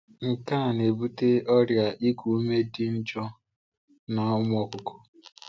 Nke a na-ebute ọrịa iku ume dị njọ n’ụmụ ọkụkọ.